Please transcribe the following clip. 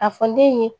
A fɔ ne ye